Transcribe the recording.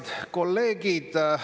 Head kolleegid!